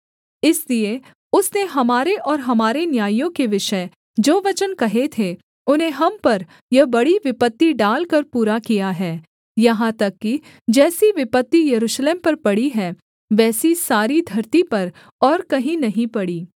इसलिए उसने हमारे और हमारे न्यायियों के विषय जो वचन कहे थे उन्हें हम पर यह बड़ी विपत्ति डालकर पूरा किया है यहाँ तक कि जैसी विपत्ति यरूशलेम पर पड़ी है वैसी सारी धरती पर और कहीं नहीं पड़ी